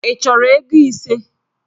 Ị chọrọ ego ise?